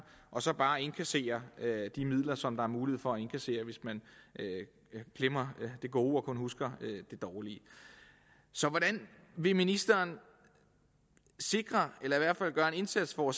og så bare indkasserer de midler som der er mulighed for at indkassere hvis man glemmer det gode og kun husker det dårlige så hvordan vil ministeren sikre eller i hvert fald gøre en indsats for